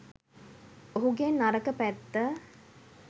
ඔහුගේ නරක පැත්ත